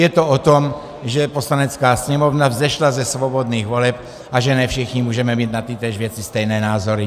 Je to o tom, že Poslanecká sněmovna vzešla ze svobodných voleb a že ne všichni můžeme mít na tytéž věci stejné názory.